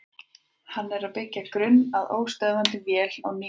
Hann er að byggja grunn að óstöðvandi vél á nýjan leik.